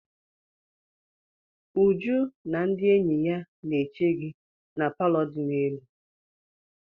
Uju na ndị enyi ya na-eche gi na palọ di n'elu.